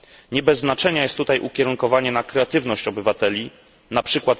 Nie bez znaczenia jest tutaj ukierunkowanie na kreatywność obywateli, np.